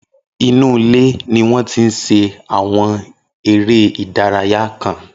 Inú ilé ni wọ́n ti ń ṣe Àwọn eré ìdárayá kan